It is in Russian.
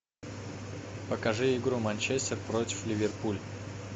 покажи игру манчестер против ливерпуль